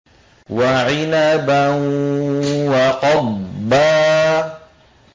وَعِنَبًا وَقَضْبًا